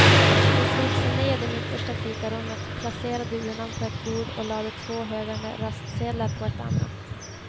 De slog sig ner i det mittersta fikarummet, placerade urnan på ett bord och lade två högar med röstsedlar på ett annat.